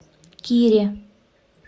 кире